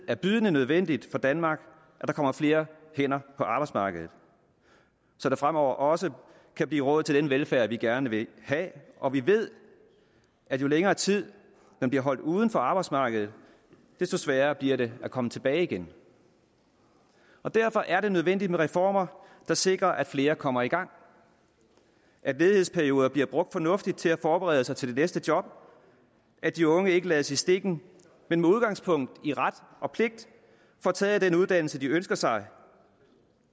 er bydende nødvendigt for danmark at der kommer flere hænder på arbejdsmarkedet så der fremover også kan blive råd til den velfærd vi gerne vil have og vi ved at jo længere tid man bliver holdt uden for arbejdsmarkedet desto sværere bliver det at komme tilbage igen derfor er det nødvendigt med reformer der sikrer at flere kommer i gang at ledighedsperioder bliver brugt fornuftigt til at forberede sig til det næste job at de unge ikke lades i stikken men med udgangspunkt i ret og pligt får taget den uddannelse de ønsker sig